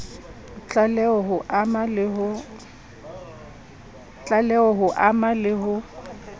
tlaleho ho ama le ho